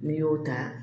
N'i y'o ta